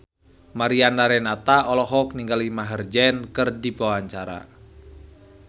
Mariana Renata olohok ningali Maher Zein keur diwawancara